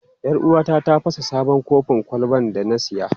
Yar uwata ta fasa sabon kofin kwalban da na saya.